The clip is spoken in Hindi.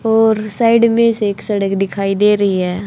और साइड में से एक सड़क दिखाई दे रही है।